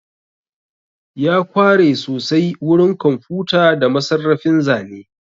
Ya kware sosai wurin kwamfuta da masarrafin zane